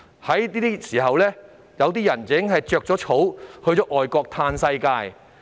現時，有些人已經逃往外國"嘆世界"。